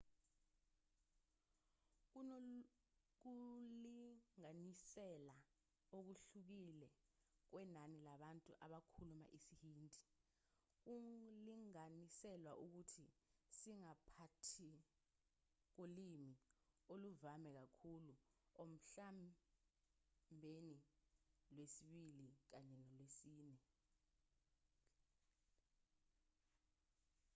kunokulinganisela okuhlukile kwenani labantu abakhuluma isihindi kulinganiselwa ukuthi siphakathi kolimi oluvame kakhulu emhlabeni lwesibili kanye nolwesine